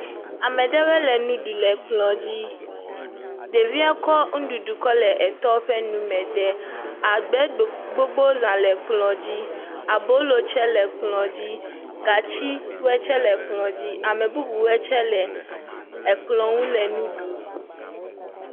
Ame ɖewɔɛ le nu ɖu le kplɔ̃ dzi. Ɖevie kɔ nuɖuɖu kɔ le etɔ ƒe nume de. Agbɛ gbo gbogbo zã le kplɔ̃ dzi. Abolo tsɛ le kplɔ̃ dzi. Gatsiwɔɛ tsɛ le kplɔ̃ dzi. Ame bubuwɔɛ tsɛ le ekplɔ̃ ŋu le nu ɖum